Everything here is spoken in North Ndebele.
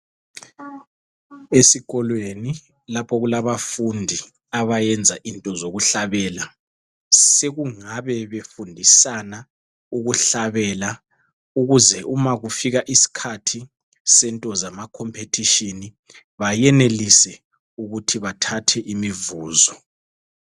Esikolweni lapho okulabafundi abayenza into zokuhlabela, sekungabe befundisana ukuhlabela ukuze ma kufika isikhathi sento zama competition bayenelise ukuthi bathathe imivuzo.